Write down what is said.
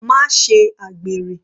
Má ṣe àgbèrè.